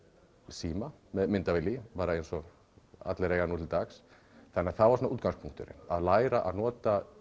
síma með myndavél í bara eins og allir eiga nú til dags þannig að það var útgangspunkturinn að læra að nota